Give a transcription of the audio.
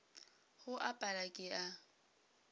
go a pala ke a